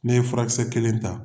Ne ye furakisɛ kelen ta